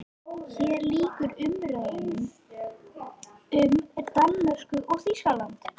HÉR LÝKUR UMRÆÐU UM DANMÖRKU OG ÞÝSKALAND